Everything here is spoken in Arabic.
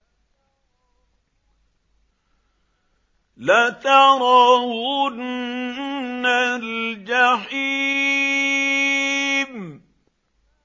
لَتَرَوُنَّ الْجَحِيمَ